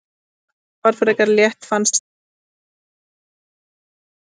Þetta var frekar létt fannst mér og þeir voru ekkert mikið að sækja á okkur.